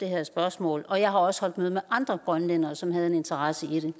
her spørgsmål og jeg har også holdt møde med andre grønlændere som har en interesse i det